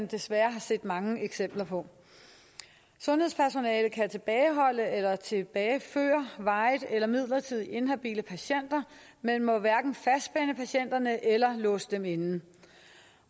desværre er set mange eksempler på sundhedspersonalet kan tilbageholde eller tilbageføre varigt eller midlertidigt inhabile patienter men må hverken fastspænde patienterne eller låse dem inde